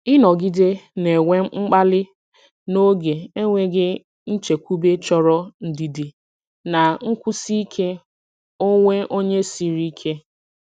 Ịnọgide na-enwe mkpali n’oge enweghị nchekwube chọrọ ndidi na nkwụsi ike onwe onye siri ike.